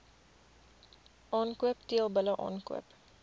aankoop teelbulle aankoop